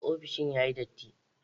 Ofishin yayi datti.